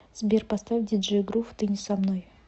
сбер поставь диджей грув ты не со мной